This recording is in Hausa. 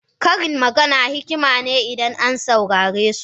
Karin magana hikima ne idan an saurare su.